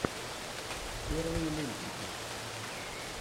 первые мультики